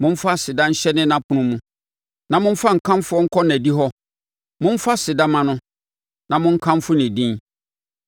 Momfa aseda nhyɛne nʼapono mu na momfa nkamfo nkɔ nʼadihɔ; momfa aseda mma no, na monkamfo ne din.